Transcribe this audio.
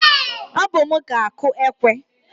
Ọ bụ m ga-akụ ekwe